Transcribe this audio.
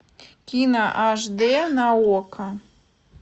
кино аш дэ на окко